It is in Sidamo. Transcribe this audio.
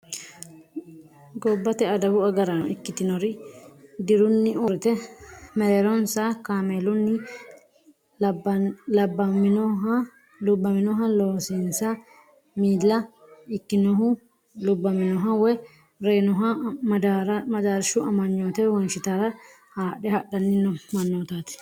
Gobbate adawu agaraano ikkitinori dirunni uurrite meereeronsa kameelunni lubbaminoha loosinsa miila ikkinohu lubbaminoha woy reeynoha madaarshu amanyoote wonshitara haadhe hadhanni noo mannootaati.